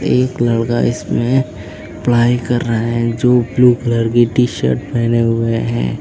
एक लड़का इसमें पढ़ाई कर रहा है जो ब्लू कलर की टी शर्ट पहने हुए हैं।